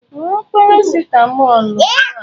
Ṅụọ parasịtamọlụ ugbu a!